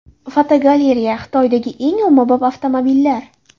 Fotogalereya: Xitoydagi eng ommabop avtomobillar.